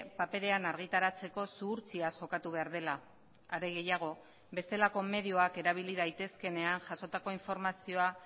paperean argitaratzeko zuhurtziaz jokatu behar dela are gehiago bestelako medioak erabili daitezkeenean jasotako informazioa